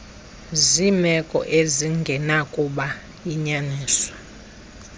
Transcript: zeemeko ezingenakuba yinyaniso